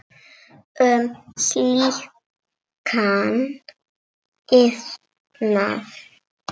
um slíkan iðnað.